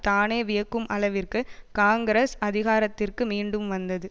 தானே வியக்கும் அளவிற்கு காங்கிரஸ் அதிகாரத்திற்கு மீண்டும் வந்தது